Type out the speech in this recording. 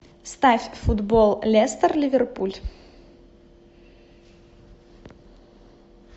ставь футбол лестер ливерпуль